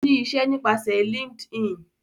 O ní iṣẹ nípasẹ LinkedIn